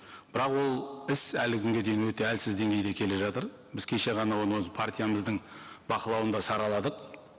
бірақ ол іс әлі күнге дейін өте әлсіз деңгейде келе жатыр біз кеше ғана оны өз партиямыздың бақылауында сараладық